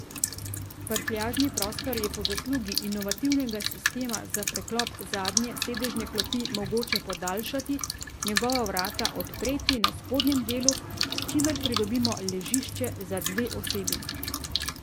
Prtljažni prostor je po zaslugi inovativnega sistema za preklop zadnje sedežne klopi mogoče podaljšati, njegova vrata odpreti na spodnjem delu, s čimer pridobimo ležišče za dve osebi.